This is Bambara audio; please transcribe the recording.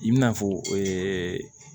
I bina fɔ